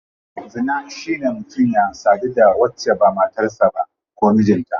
Zina shine mutum ya sadu da wacce ba matar sa ba ko mijinta.